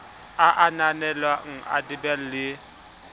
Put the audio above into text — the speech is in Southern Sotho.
a ananelwang ke ldab le